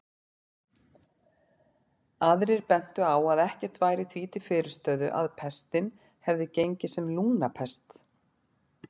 Aðrir bentu á að ekkert væri því til fyrirstöðu að pestin hefði gengið sem lungnapest.